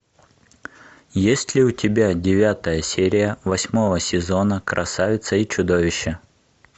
есть ли у тебя девятая серия восьмого сезона красавица и чудовище